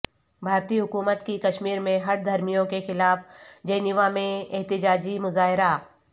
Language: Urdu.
بھارتی حکومت کی کشمیر میں ہٹ دھرمیوں کے خلاف جنیوا میں احتجاجی مظاہرہ